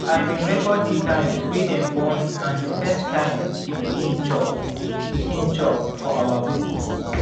i been record the time wy dem born and first time the pikin chop pikin chop for our book